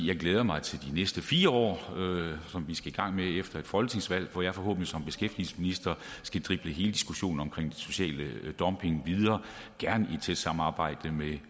jeg glæder mig til de næste fire år som vi skal i gang med efter et folketingsvalg hvor jeg forhåbentlig som beskæftigelsesminister skal drible hele diskussionen om social dumping videre gerne i et tæt samarbejde med